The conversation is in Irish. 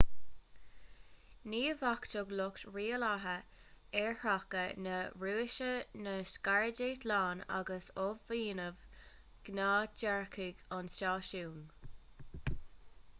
ghníomhachtaigh lucht rialaithe aerthráchta na rúise na scairdeitleáin agus athbhunaíodh gnáthdhearcadh an stáisiúin